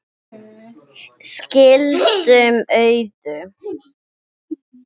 Skilum auðu.